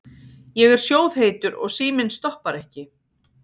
Ég er sjóðheitur og síminn stoppar ekki.